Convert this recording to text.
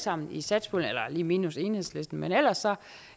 sammen i satspuljen lige minus enhedslisten ellers